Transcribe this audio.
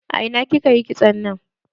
A ina kika yi kitson nan?